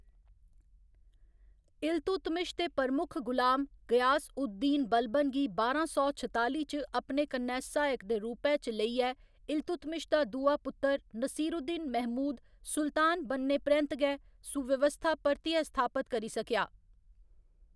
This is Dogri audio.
इल्तुतमिश दे प्रमुख गुलाम, गयास उद दीन बलबन गी बारां सौ छताली च अपने कन्नै सहायक दे रूपै च लेइयै इल्तुतमिश दा दूआ पुत्तर नसीरुद्दीन महमूद सुल्तान बनने परैंत्त गै सुव्यवस्था परतियै स्थापत करी सकेआ।